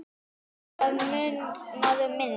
Það munar um minna.